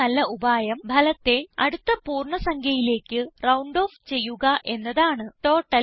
ഏറ്റവും നല്ല ഉപായം ഫലത്തെ അടുത്ത പൂർണ്ണ സംഖ്യയിലേക്ക് റൌണ്ട് ഓഫ് ചെയ്യുക എന്നതാണ്